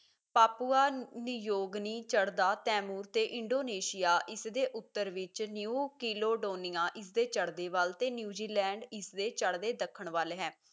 Papua New Guinea ਚੜਦਾ Timor ਤੇ Indonesia ਇਸ ਦੇ ਉੱਤਰ ਵਿੱਚ ਨਿਊ ਕਿਲੋਡੋਨੀਆ ਇਸ ਦੇ ਚੜਦੇ ਵੱਲ ਤੇ ਨਿਊਜ਼ੀਲੈਂਡ ਇਸ ਦੇ ਚੜਦੇ ਦੱਖਣ ਵੱਲ ਹੈ